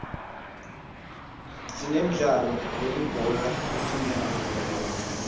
sinemidlalo yelibhola letinyawo